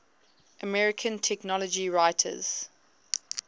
american technology writers